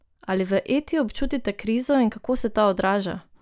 Ali v Eti občutite krizo in kako se ta odraža?